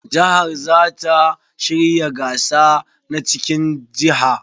Jihar za ta shirya gasa na cikin jiha.